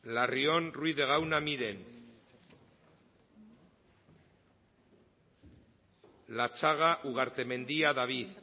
larrion ruiz de gauna miren latxaga ugartemendia david